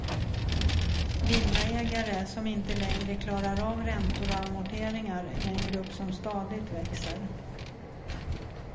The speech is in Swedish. Villaägare som inte längre klarar av räntor och amorteringar är en grupp som stadigt växer.